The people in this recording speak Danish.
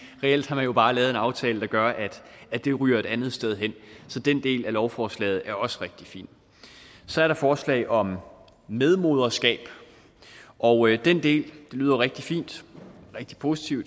reelt har man jo bare lavet en aftale der gør at at det ryger et andet sted hen så den del af lovforslaget er også rigtig fin så er der forslaget om medmoderskab og den del lyder rigtig fin og rigtig positiv